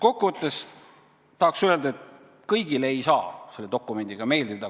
Kokkuvõtteks tahaks öelda, et kõigile ei saa selle dokumendiga meeldida.